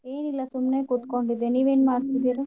ಏನಿಲ್ಲಾ ಸುಮ್ನೆ ಕೂತ್ಕೊಂಡಿದ್ದೆ ನೀವೆನ್ ಮಾಡ್ತಿದೀರಿ?